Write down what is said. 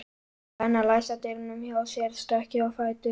Benna læsa dyrunum hjá sér stökk ég á fætur.